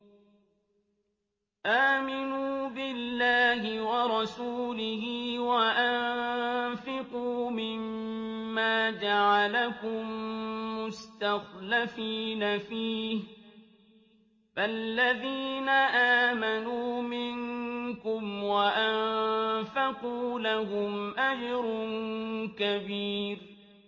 آمِنُوا بِاللَّهِ وَرَسُولِهِ وَأَنفِقُوا مِمَّا جَعَلَكُم مُّسْتَخْلَفِينَ فِيهِ ۖ فَالَّذِينَ آمَنُوا مِنكُمْ وَأَنفَقُوا لَهُمْ أَجْرٌ كَبِيرٌ